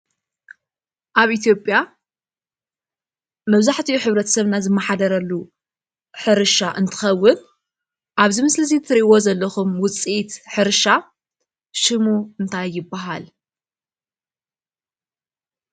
ኣብ ኢትዮጵያ መብዛሕትኡ ሕብረተሰብና ዝመሓደረሉ ሕርሻ እንትኸውን ኣብዚ ምስሊ ትሪእዎ ዘለኹም ውፅኢት ሕርሻ ሽሙ እንታይ ይበሃል?